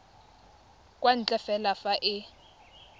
kwa ntle fela fa e